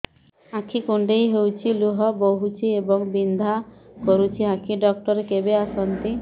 ଆଖି କୁଣ୍ଡେଇ ହେଉଛି ଲୁହ ବହୁଛି ଏବଂ ବିନ୍ଧା କରୁଛି ଆଖି ଡକ୍ଟର କେବେ ଆସନ୍ତି